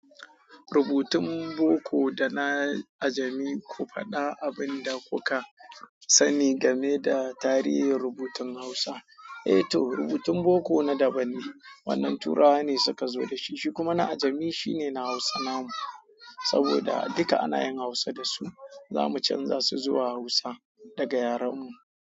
Rubutun Boko da na Ajami, ku faɗa abun da kuka sani game da tarihin rubutun Hausa. Eh to, rubutun Boko na daban ne. Wannan Turawa ne suka zo da shi, shi kuma na Ajami shi ne na Hausa namu, saboda duka ana yin Hausa da su. Za mu canza su zuwa Hausa daga yaren mu.